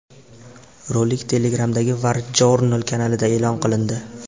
Rolik Telegram’dagi WarJournal kanalida e’lon qilindi .